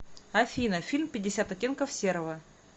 афина фильм пятьдесят оттенков серого